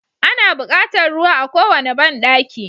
Ana buƙatar ruwa a kowane banɗaki.